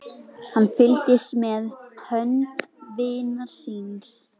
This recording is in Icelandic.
Hann fylgdist með hönd vinar síns.